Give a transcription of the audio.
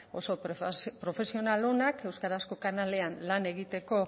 oso profesional onak euskarazko kanalean lan egiteko